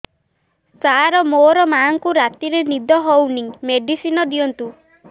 ସାର ମୋର ମାଆଙ୍କୁ ରାତିରେ ନିଦ ହଉନି ମେଡିସିନ ଦିଅନ୍ତୁ